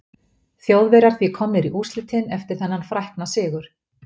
Þjóðverjar því komnir í úrslitin eftir þennan frækna sigur.